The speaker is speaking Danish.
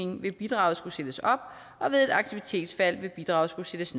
vil bidraget skulle sættes op og ved et aktivitetsfald vil bidraget skulle sættes